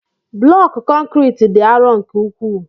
Blọku konkriiti dị arọ nke ukwuu.